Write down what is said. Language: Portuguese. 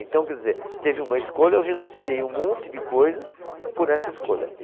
Então, quer dizer, teve uma escolha, eu renunciei um monte de coisas por essa escolha.